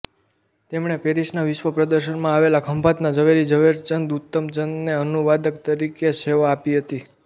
તેમણે પેરિસના વિશ્વ પ્રદર્શનમાં આવેલા ખંભાતના ઝવેરી ઝવેરચંદ ઉત્તમચંદને અનુવાદક તરીકે સેવા આપી હતી